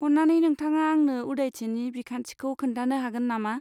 अन्नानै नोंथाङा आंनो उदायथिनि बिखान्थिखौ खोन्थानो हागोन नामा?